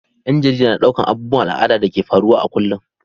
Ƴan jarida na ɗaukar abubuwan al'ada da ke faruwa a kullum.